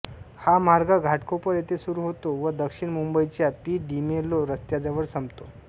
हा मार्ग घाटकोपर येथे सुरू होतो व दक्षिण मुंबईच्या पी डिमेलो रस्त्याजवळ संपतो